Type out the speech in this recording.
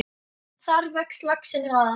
Þar vex laxinn hraðar.